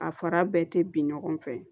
A fara bɛɛ tɛ bin ɲɔgɔn fɛ